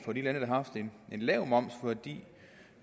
for de lande der har haft en lav moms fordi